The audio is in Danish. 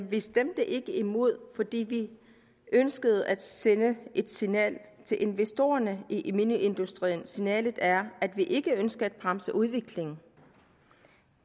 vi stemte ikke imod fordi vi ønskede at sende et signal til investorerne i mineindustrien signalet er at vi ikke ønsker at bremse udviklingen